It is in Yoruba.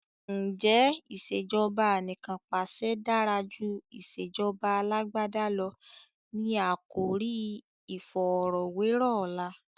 Ǹjẹ́ "ìsèjọba anìkanpàṣẹ dára jù ìsèjọba Alàgbàda lọ? " ni àkòrí iìfọ̀rọ̀wẹ́rọ̀ ọ̀la.